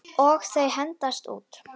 Og þau hendast út.